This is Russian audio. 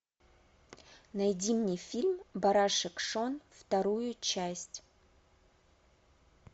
найди мне фильм барашек шон вторую часть